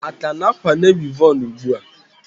A ka na-akwanye wivon ugbua?